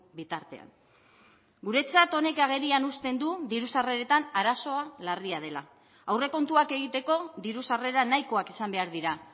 bitartean guretzat honek agerian uzten du diru sarreretan arazoa larria dela aurrekontuak egiteko diru sarrera nahikoak izan behar dira